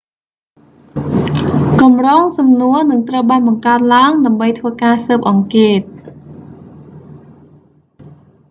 កម្រងសំណួរនឹងត្រូវបានបង្កើតឡើង ដើម្បីធ្វើការស៊ើបអង្កេត